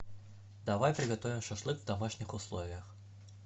давай приготовим шашлык в домашних условиях